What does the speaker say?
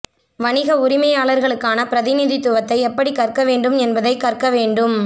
வணிக உரிமையாளர்களுக்கான பிரதிநிதித்துவத்தை எப்படி கற்க வேண்டும் என்பதைக் கற்க வேண்டும்